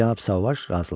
Cənab Sauvage razılaşdı.